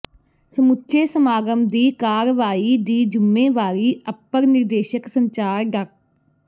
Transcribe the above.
ਸਮੁੱਚੇ ਸਮਾਗਮ ਦੀ ਕਾਰਵਾਈ ਦੀ ਜ਼ੁੰਮੇਵਾਰੀ ਅਪਰ ਨਿਰਦੇਸ਼ਕ ਸੰਚਾਰ ਡਾ